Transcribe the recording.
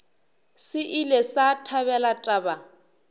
se ile sa thabela taba